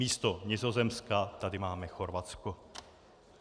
Místo Nizozemska tady máme Chorvatsko.